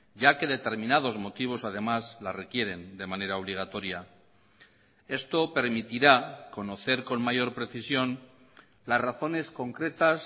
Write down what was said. ya que determinados motivos además la requieren de manera obligatoria esto permitirá conocer con mayor precisión las razones concretas